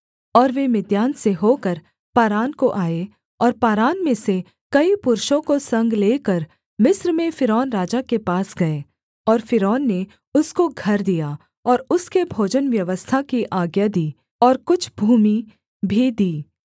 और वे मिद्यान से होकर पारान को आए और पारान में से कई पुरुषों को संग लेकर मिस्र में फ़िरौन राजा के पास गए और फ़िरौन ने उसको घर दिया और उसके भोजन व्यवस्था की आज्ञा दी और कुछ भूमि भी दी